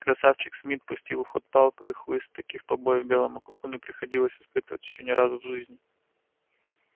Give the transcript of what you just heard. красавчик смт пустил в ход палку и хлыст и таких побоев белому клыку не приходилось испытывать ещё ни разу в жизни